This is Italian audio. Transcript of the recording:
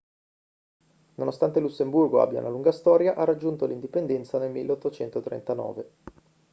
nonostante il lussemburgo abbia una lunga storia ha raggiunto l'indipendenza nel 1839